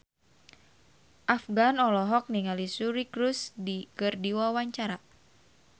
Afgan olohok ningali Suri Cruise keur diwawancara